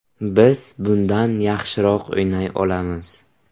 Biz bundan yaxshiroq o‘ynay olamiz.